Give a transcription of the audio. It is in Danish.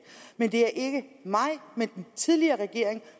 men det er ikke mig men den tidligere regering